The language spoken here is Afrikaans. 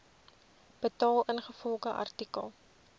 betaal ingevolge artikel